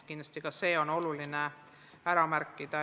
Kindlasti on ka see oluline ära märkida.